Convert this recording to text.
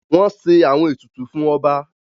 Wọ́n ṣe àwọn ètùtù fún ọba.